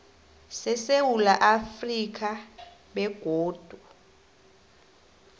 sesewula afrika begodu